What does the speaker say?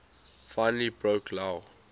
finally broke lou